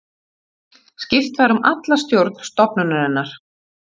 Skipt var um alla stjórn stofnunarinnar